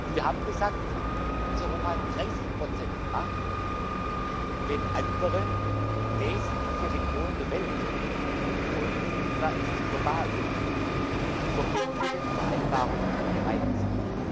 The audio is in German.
Wir haben gesagt, dass Europa 30 umsetzt, wenn andere wesentliche Regionen der Welt denn das Klima ist global zu verbindlichen Vereinbarungen bereit sind.